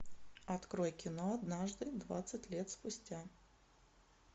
открой кино однажды двадцать лет спустя